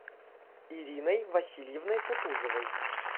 ириной васильевной кутузовой